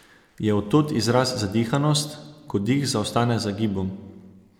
Je od tod izraz zadihanost, ko dih zaostane za gibom?